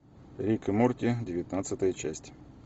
рик и морти девятнадцатая часть